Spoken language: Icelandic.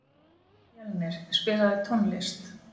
Mjölnir, spilaðu tónlist.